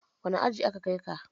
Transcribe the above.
Wane aji aka kai ka?